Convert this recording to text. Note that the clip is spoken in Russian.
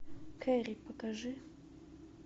кэрри покажи